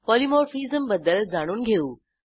polymorphism बद्दल जाणून घेऊ